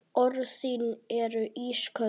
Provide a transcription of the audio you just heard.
Orð þín eru ísköld.